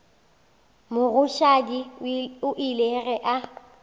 mogoshadi o ile ge a